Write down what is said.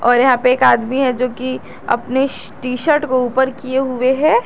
और यहां पे एक आदमी है जो कि अपनी टी शर्ट को ऊपर किए हुए हैं।